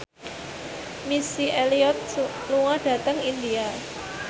Missy Elliott lunga dhateng India